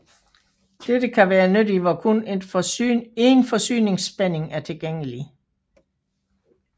Dette kan være nyttigt hvor kun én forsyningsspænding er tilgængelig